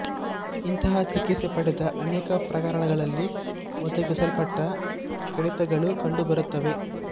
ಇಂತಹ ಚಿಕಿತ್ಸೆ ಪಡೆದ ಅನೇಕ ಪ್ರಕರಣಗಳಲ್ಲಿ ಒಣಗಿಸಲ್ಪಟ್ಟ ಕಡಿತಗಳು ಕಂಡುಬರುತ್ತವೆ